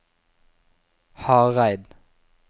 Hareid